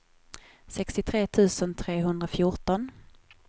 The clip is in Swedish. sextiotre tusen trehundrafjorton